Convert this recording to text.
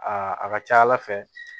Aa a ka ca ala fɛ